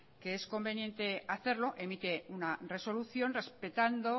que es conveniente hacerlo emite una resolución respetando